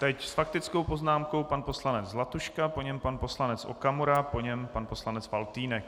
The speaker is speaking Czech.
Teď s faktickou poznámkou pan poslanec Zlatuška, po něm pan poslanec Okamura, po něm pan poslanec Faltýnek.